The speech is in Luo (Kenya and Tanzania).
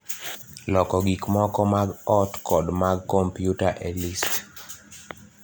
loko gik moko mag ot kod mag kompyuta e list